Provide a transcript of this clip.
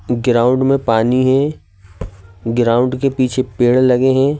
Ground में पानी है ग्राउंड के पीछे पेड़ लगे हैं।